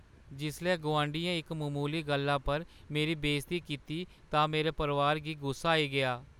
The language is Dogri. जिसलै गोआंढियै इक ममूली गल्लै पर मेरी बेइज्जती कीती तां मेरे परोआरै गी गुस्सा आई गेआ।